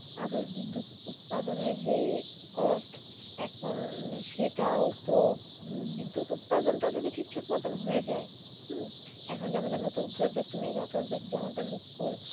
আবার বিদ্যুৎ উৎপাদন যেই Cost এখন সেটাও তো বিদ্যুৎ উৎপাদনটা যদি ঠিক মত হয়ে যায় হম এখন আমাদের যে নতুন Project Mega Project যে আমাদের রুপপুর।